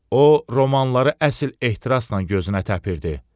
O romanları əsl ehtirasla gözünə təpiridi.